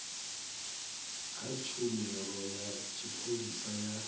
kha tshumelo ya tshipholisa ya